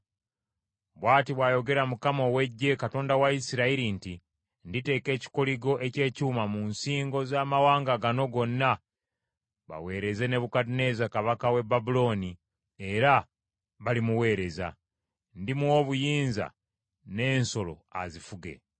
Bw’ati bw’ayogera Mukama ow’Eggye, Katonda wa Isirayiri nti, Nditeeka ekikoligo eky’ekyuma mu nsingo z’amawanga gano gonna baweereze Nebukadduneeza kabaka w’e Babulooni era balimuweereza. Ndimuwa obuyinza n’ensolo azifuge.’ ”